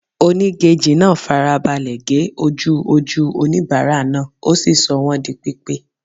Onígejì náà fara balẹ̀ ge ojú ojú oníbàárà náà, ó sì sọ wọ́n di pípé.